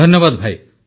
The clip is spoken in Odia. ଧନ୍ୟବାଦ ଭାଇ